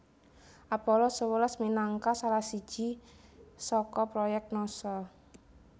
Apollo sewelas minangka salah siji saka proyèk Nasa